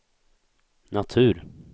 natur